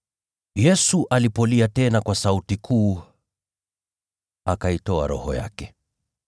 Yesu alipolia tena kwa sauti kuu, akaitoa roho yake.